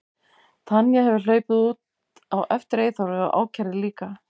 Tanya hefði hlaupið út á eftir Eyþóri og ákærði líka.